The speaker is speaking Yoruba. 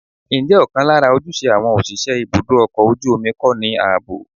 Ǹjẹ́ ọ̀kan lára ojúṣe àwọn òṣìṣẹ́ ibùdó ọkọ̀ ojú omi kọ́ ní ààbò?